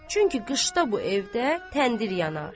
Çünki qışda bu evdə təndir yanar.